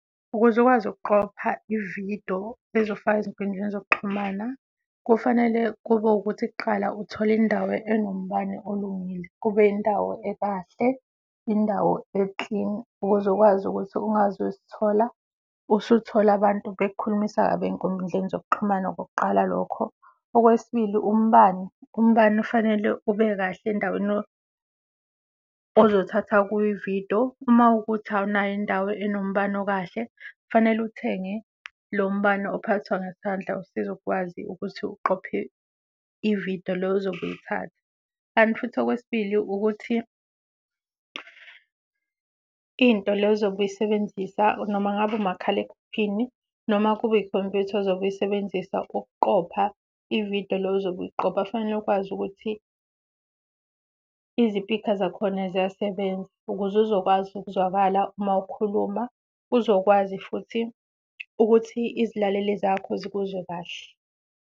Ukuze ukwazi ukuqopha i-video ezofakwa ezinkundleni zokuxhumana kufanele kube wukuthi kuqala uthola indawo enombani olungile, kube yindawo ekahle, yindawo e-clean ukuze ukwazi ukuthi ungazuzithola usuthola abantu bekukhulumisa kabi ey'nkundleni zokuxhumana, okokuqala lokho. Okwesibili, umbani umbani ufanele ube kahle endaweni ozothatha kuyo i-video. Uma kuwukuthi awunayo indawo enombani okahle, kufanele uthenge lo mbani ophathwa ngesandla osiza ukwazi ukuthi uqophe i-video le ozobe uyithatha. Kanti futhi okwesibili, ukuthi into le ozobe uyisebenzisa noma ngabe umakhalekhukhini, noma kube yikhompyutha ozobe uyisebenzisa ukuqopha i-video le ozobe uyiqhopha fanele ukwazi ukuthi izipikha zakhona ziyasebenza ukuze uzokwazi ukuzwakala uma wukhuluma, uzokwazi futhi ukuthi izilaleli zakho zikuzwe kahle.